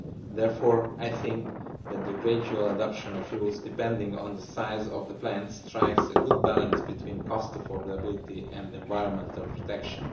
Therefore I think that the gradual adoption of rules depending on the size of the plants strikes a good balance between affordability and environmental protection.